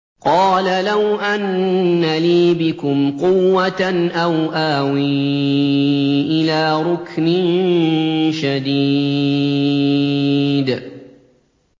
قَالَ لَوْ أَنَّ لِي بِكُمْ قُوَّةً أَوْ آوِي إِلَىٰ رُكْنٍ شَدِيدٍ